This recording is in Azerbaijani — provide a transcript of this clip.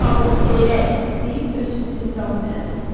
Ağalı seyirək deyib öz fitini davam elədi.